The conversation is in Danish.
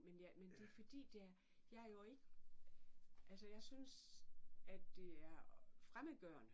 Men ja men det fordi det er jeg er jo ikke altså jeg synes det er fremmedgørende